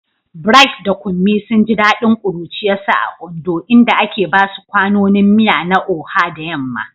Bright da Kunmi sun ji dadin kuruciyarsu a Ondo, inda ake basu kwanonin miya na Oha da yamma.